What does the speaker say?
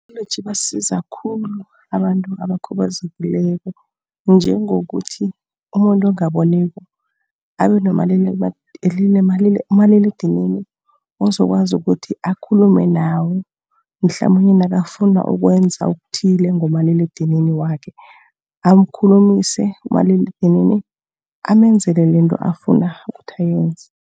ibasiza khulu abantu abakhubazekileko, njengokuthi umuntu ongaboniko abe nomaliledinini, ozokwazi ukuthi akhulume naye, mhlamunye nakafuna ukwenza okuthile ngomaliledinini wakhe. Amkhulumise umaliledinini, amenzele lento afuna ukuthi ayenze.